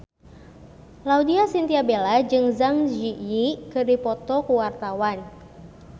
Laudya Chintya Bella jeung Zang Zi Yi keur dipoto ku wartawan